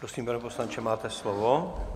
Prosím, pane poslanče, máte slovo.